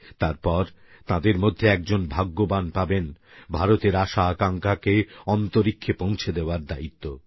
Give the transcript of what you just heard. তারপর তাঁদের মধ্যে একজন ভাগ্যবান পাবেন ভারতের আশাআকাঙ্ক্ষাকে অন্তরীক্ষে পৌঁছে দেওয়ার দায়িত্ব